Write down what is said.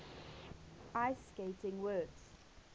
ice skating works